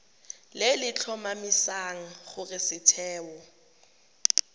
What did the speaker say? le le tlhomamisang gore setheo